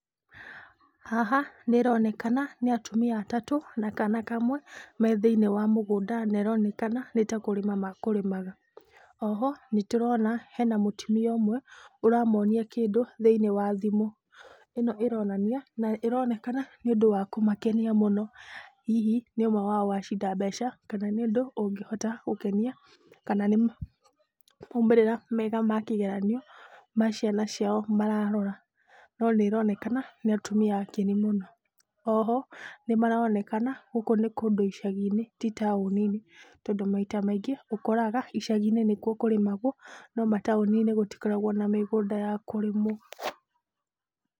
Haha nĩ ĩronekana nĩ atumia atatũ na kana kamwe me thĩiniĩ wa mũgũnda na ĩronekana nĩ ta kũrĩma ma kũrĩmaga. Oho nĩ tũrona hena mũtumia ũmwe ũramonia kĩndũ thĩiniĩ wa thimũ. Ĩno ĩronania na ĩronekana, nĩ ũndũ wa kũmakenia mũno. Hihi nĩ ũmwe wao wacinda mbeca kana nĩ ũndũ ũngĩhota gũkenia kana nĩ maumĩrĩra mega ma kĩgeranio ma ciana ciao mararora. No nĩ ĩronekana nĩ atumia akenu mũno. Oho, nĩ maronekana gũkũ nĩ kũndũ icagi-inĩ ti taũni-inĩ, tondũ maita maingĩ, ũkoraga icagi-inĩ nĩkuo kũrĩmagwo no mataũni-inĩ gũtikoragwo na mĩgũnda ya kũrĩmwo.